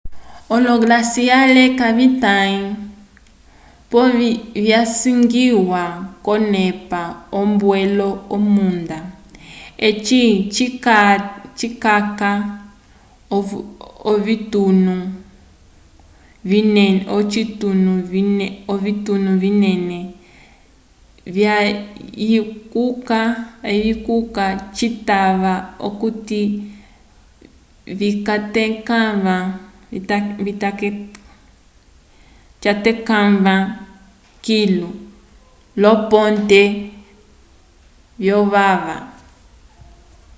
olo-glaciare kavitãyi pole visangiwa k'onepa yombwelo yomunda eci cikaca ovitunu vinene vyayikuka citava okuti vikatekãva kilu lyoloponte vyovava